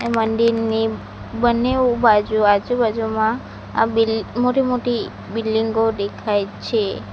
મંદિરની બંનેઓ બાજુ આજુબાજુમાં આ બિલ મોટી-મોટી બિલ્ડીંગો દેખાય છે.